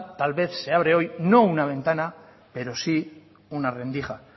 tal vez se abre hoy no una ventana pero sí una rendija